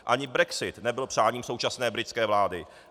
Ani brexit nebyl přáním současné britské vlády.